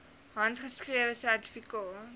handgeskrewe sertifikate